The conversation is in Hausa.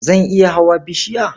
Zan iya hawa bishiya.